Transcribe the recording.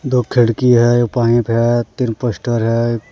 दो खिड़की हैं एक पाइप है तीन पोस्टर हैं ।